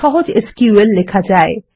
সহজ এসকিউএল লেখা যায়